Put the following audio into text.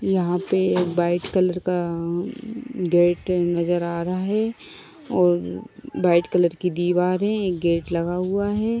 यहा पे एक व्हाइट कलर का अ--गेट नजर आ रहा है और व्हाइट कलर की दीवार है। एक गेट लगा हुआ है।